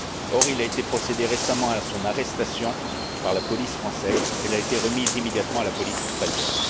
Or, il a été procédé récemment à son arrestation par la police française et elle a été remise immédiatement à la police espagnole.